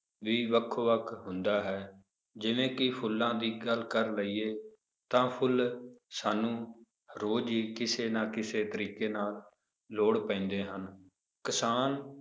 ਵੀ ਵੱਖੋ ਵੱਖ ਹੁੰਦਾ ਹੈ ਜਿਵੇਂ ਕਿ ਫੁੱਲਾਂ ਦੀ ਗੱਲ ਕਰ ਲਈਏ ਤਾਂ ਫੁੱਲ ਸਾਨੂੰ ਰੋਜ਼ ਹੀ ਕਿਸੇ ਨਾ ਕਿਸੇ ਤਰੀਕੇ ਨਾਲ ਲੋੜ ਪੈਂਦੇ ਹਨ, ਕਿਸਾਨ